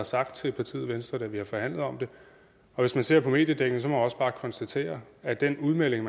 sagt til partiet venstre da vi forhandlede om det og hvis man ser på mediedækningen må man også bare konstatere at den udmelding